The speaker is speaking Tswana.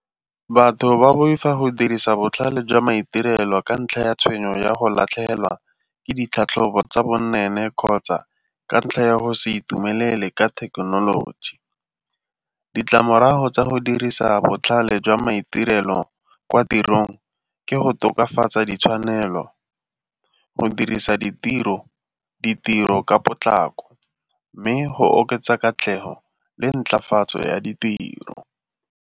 Batho ba boifa go dirisa botlhale jwa maitirelo ka ntlha ya tshwenyo ya go latlhegelwa ke ditlhatlhobo tsa bonweenwee kgotsa ka ntlha ya go se itumelele ka thekenoloji. Ditlamorago tsa go dirisa botlhale jwa maitirelo kwa tirong ke go tokafatsa ditshwanelo go dirisa ditiro ka potlako mme go oketsa katlego le ntlafatso ya ditiro.